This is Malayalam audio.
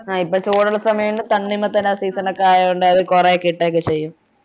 ആഹ് ഇപ്പൊ ചൂടുള്ള സമയഒണ്ട് തണ്ണിമത്തൻ season ണൊക്കെ ആയോണ്ട് അത് കൊറേ കിട്ടുഒക്കെ ചെയ്യും